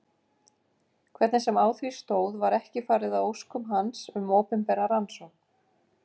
Hvernig sem á því stóð var ekki farið að óskum hans um opinbera rannsókn.